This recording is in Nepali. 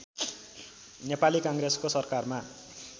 नेपाली काङ्ग्रेसको सरकारमा